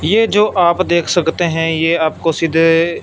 ये जो आप देख सकते हैं ये आपको सीधे--